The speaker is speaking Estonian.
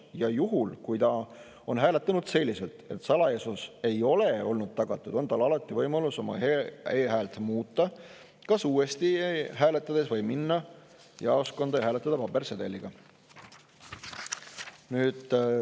Ja juhul, kui ta on hääletanud selliselt, et salajasus ei ole olnud tagatud, on tal alati võimalus oma e-häält muuta kas uuesti hääletades või minna jaoskonda ja hääletada pabersedeliga.